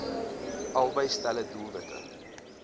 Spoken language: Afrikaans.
albei stelle doelwitte